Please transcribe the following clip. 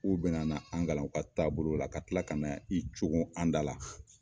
U bɛna na an kalan u ka taabolo la ka tila ka na i coogo an da la